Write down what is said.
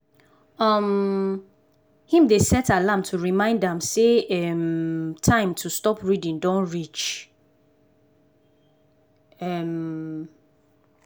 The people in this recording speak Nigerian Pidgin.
um him dey set alarm to remind am say um time to stop reading don reach. um